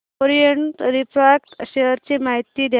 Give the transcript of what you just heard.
Orient refract share ची माहिती द्या